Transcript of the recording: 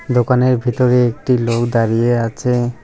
দোকানের ভিতরে একটি লোক দাঁড়িয়ে আছে।